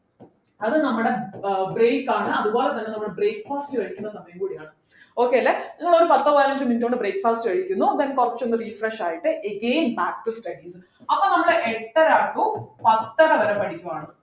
അത് നമ്മുടെ ഏർ break ആണ് അതുപോലെതന്നെ നമ്മക്ക് breakfast കഴിക്കുന്ന സമയം കൂടിയാണ് okay അല്ലെ നമ്മള് പത്തോ പതിനഞ്ചോ minute കൊണ്ട് breakfast കഴിക്കുന്നു then കുറച്ചൊന്നു refresh ആയിട്ട് then again back to studies അപ്പൊ നമ്മള് എട്ടര to പത്തര വരെ പഠിക്കുവാണ്